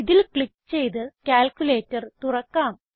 ഇതിൽ ക്ലിക്ക് ചെയ്ത് ക്യാൽക്കുലേറ്റർ തുറക്കാം